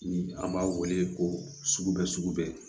Ni an b'a wele ko sugubɛ sugubɛ